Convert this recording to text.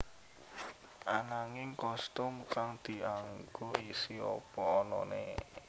Ananging kostum kang dianggo isih apa anané